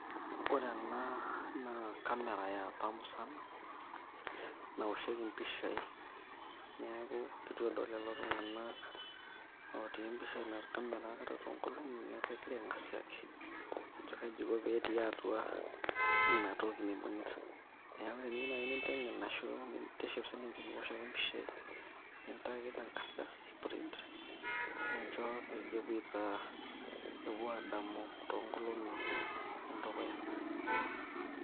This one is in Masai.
ore ena naa cameera yeapa musana nawoshieki impishai neeku kitu edol lelo tung'anak otii empisha iba camera toonkolong'i neeku kegira aing'asiaki ajo kaji iko petii atua inatoki naibung'ita niaku ore eniyieu naaji ninteng'en ashu nintiship sininche niwosh ake mpishai nintaki tenkardasi ae print nincho peyie epuo aitaa epuo adamu toonkolong'i endukuya.